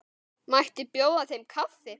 Mætti bjóða þeim kaffi?